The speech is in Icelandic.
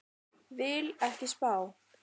Vil ekki spá.